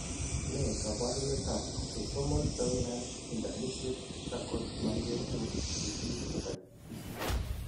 Ne kaabarunetap Autosomal dominant intermediate Charcot Marie Tooth disease type B?